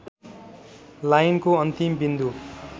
लाइनको अन्तिम बिन्दु